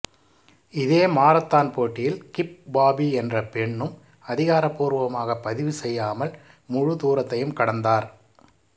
இதே மாரத்தான் போட்டியில் Gibb Bobbi என்ற பெண்ணும் அதிகாரபூர்வமாகப் பதிவு செய்யாமல் முழு தூரத்தையும் கடந்தார்